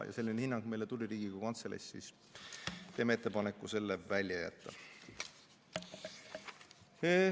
Selline hinnang tuli meile Riigikogu Kantseleist ja me teeme ettepaneku selle välja jätta.